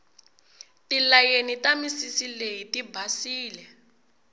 tilayeni ta misisi leyi tibasile